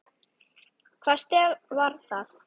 Hvaða stef var það?